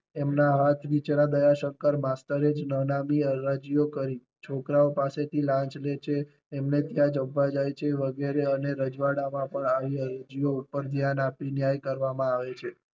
એમના હાથ નીચે રહેલા દયા શંકર માસ્તરે જ નનામી અરજીઓ કરી. છોકરાઓ પાસે થી લાંચ લે છે એમન ત્યાં જમવા જાય છે વગેરે અને રજવડા માં પણ આવી અરજીઓ ઉપર ધ્યાન આપી ને ન્યાય કરવામાં આવે છે